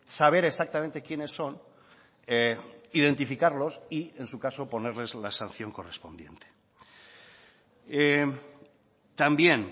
saber exactamente quiénes son identificarlos y en su caso ponerles la sanción correspondiente también